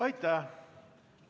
Aitäh!